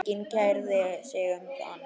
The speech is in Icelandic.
Enginn kærði sig um hann.